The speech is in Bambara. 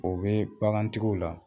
O bee bagantigiw la